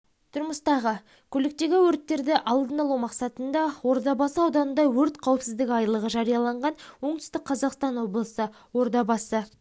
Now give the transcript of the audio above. тұрмыстағы көліктегі өрттерді алдын алу мақсатында ордабасы ауданында өрт қауіпсіздігі айлығы жарияланған оңтүстік қазақстан облысы ордабасы